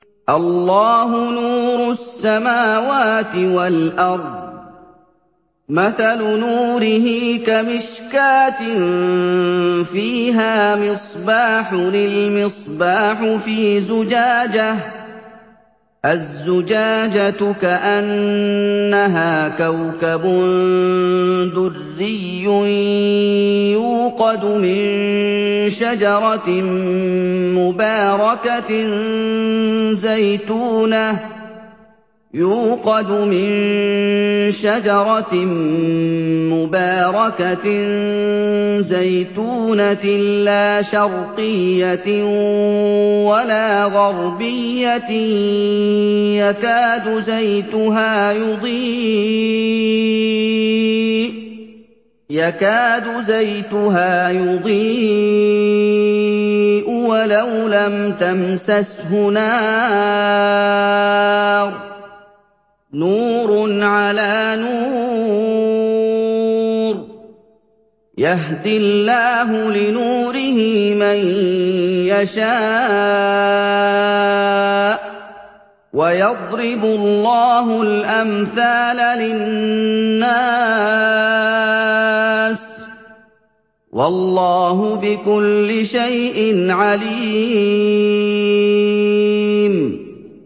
۞ اللَّهُ نُورُ السَّمَاوَاتِ وَالْأَرْضِ ۚ مَثَلُ نُورِهِ كَمِشْكَاةٍ فِيهَا مِصْبَاحٌ ۖ الْمِصْبَاحُ فِي زُجَاجَةٍ ۖ الزُّجَاجَةُ كَأَنَّهَا كَوْكَبٌ دُرِّيٌّ يُوقَدُ مِن شَجَرَةٍ مُّبَارَكَةٍ زَيْتُونَةٍ لَّا شَرْقِيَّةٍ وَلَا غَرْبِيَّةٍ يَكَادُ زَيْتُهَا يُضِيءُ وَلَوْ لَمْ تَمْسَسْهُ نَارٌ ۚ نُّورٌ عَلَىٰ نُورٍ ۗ يَهْدِي اللَّهُ لِنُورِهِ مَن يَشَاءُ ۚ وَيَضْرِبُ اللَّهُ الْأَمْثَالَ لِلنَّاسِ ۗ وَاللَّهُ بِكُلِّ شَيْءٍ عَلِيمٌ